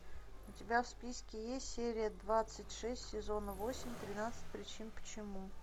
у тебя в списке есть серия двадцать шесть сезона восемь тринадцать причин почему